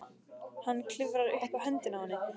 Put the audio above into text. Hann klifrar upp á höndina á henni.